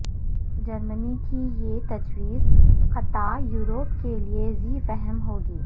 جرمنی کی یہ تجویز خطہ یورپ کے لیے ذی فہم ہو گی